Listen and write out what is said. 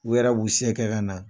U yɛrɛ b'u se kɛ ka na.